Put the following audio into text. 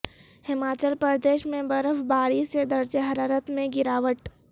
ہماچل پردیش میں برف باری سے درجہ حرارت میں گراوٹ